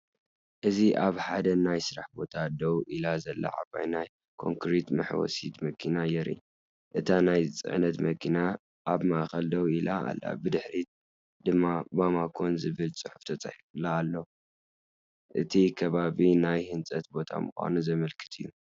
እዚ ኣብ ሓደ ናይ ስራሕ ቦታ ደው ኢላ ዘላ ዓባይ ናይ ኮንክሪት መሕወሲት መኪና የርኢ። እታ ናይ ጽዕነት መኪና ኣብ ማእከል ደው ኢላ ኣላ፡ብድሕሪት ድማ“ባማኮን”ዝብል ጽሑፍ ተጻሒፉላ ኣለዋ። እቲ ከባቢ ናይ ህንፀት ቦታ ምዃኑ ዘመልክት እዩ።